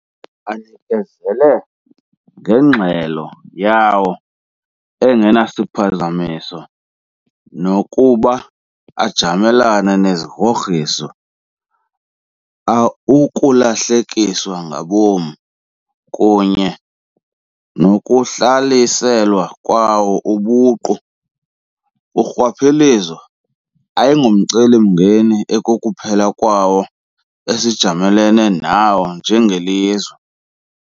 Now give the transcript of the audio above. Anikezela ngengxelo yawo engenasiphazamiso nokuba ajamelene nezigrogriso, ukulahlekiswa ngabom, kunye nokuhlaliselwa kwawo ubuqu. Urhwaphilizo ayingomcelimngeni ekukuphela kwawo esijamelene nawo njengelizwe.